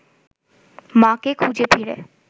মাকে খুঁজে ফিরে